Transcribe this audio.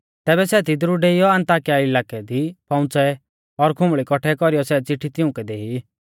तैबै सै तिदरु डेइयौ अन्ताकिया इलाकै दी पौउंच़ै और खुंबल़ी कौट्ठै कौरीयौ सै चिट्ठी तिउंकै देई